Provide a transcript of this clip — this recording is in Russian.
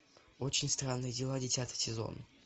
очень странные дела десятый сезон